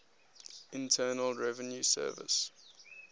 internal revenue service